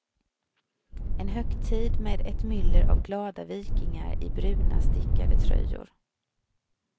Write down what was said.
En högtid med ett myller av glada vikingar i bruna stickade tröjor.